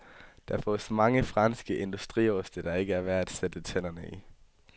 Der fås mange franske industrioste, der ikke er værd at sætte tænderne i.